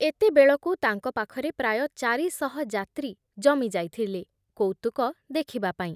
ଏତେବେଳକୁ ତାଙ୍କ ପାଖରେ ପ୍ରାୟ ଚାରିଶହ ଯାତ୍ରୀ ଜମି ଯାଇଥଲେ କୌତୁକ ଦେଖିବାପାଇଁ ।